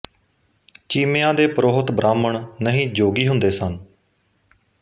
ਚੀਮਿਆਂ ਦੇ ਪ੍ਰੋਹਤ ਬ੍ਰਾਹਮਣ ਨਹੀਂ ਜੋਗੀ ਹੁੰਦੇ ਸਨ